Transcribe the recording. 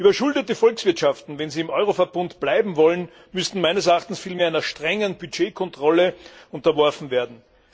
Überschuldete Volkswirtschaften, wenn sie im Euroverbund bleiben wollen, müssten meines Erachtens vielmehr einer strengen Budgetkontrolle unterworfen werden.